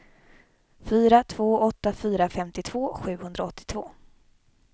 fyra två åtta fyra femtiotvå sjuhundraåttiotvå